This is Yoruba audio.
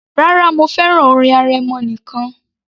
Rárá, mo fẹ́ràn orin arẹmọ nìkan